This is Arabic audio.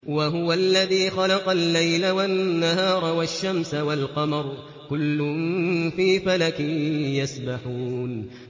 وَهُوَ الَّذِي خَلَقَ اللَّيْلَ وَالنَّهَارَ وَالشَّمْسَ وَالْقَمَرَ ۖ كُلٌّ فِي فَلَكٍ يَسْبَحُونَ